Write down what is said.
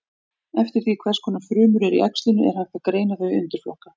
Eftir því hvers konar frumur eru í æxlinu er hægt að greina þau í undirflokka.